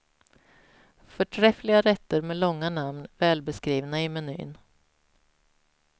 Förträffliga rätter med långa namn välbeskrivna i menyn.